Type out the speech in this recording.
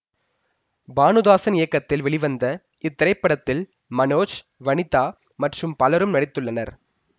பானுதாசன் இயக்கத்தில் வெளிவந்த இத்திரைப்படத்தில் மனோஜ் வனிதா மற்றும் பலரும் நடித்துள்ளனர்